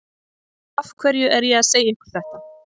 Af hverju er ég að segja ykkur þetta?